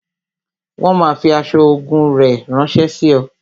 Wọn máa fi aṣọ ogun rẹ ránsẹ́ sí ọ